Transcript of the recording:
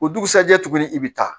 O dugusɛjɛ tuguni i bɛ taa